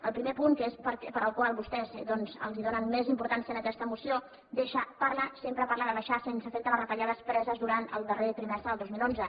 el primer punt que és al qual vostès doncs donen més importància en aquesta moció parla sempre parla de deixar sense efecte les retallades preses durant el darrer trimestre del dos mil onze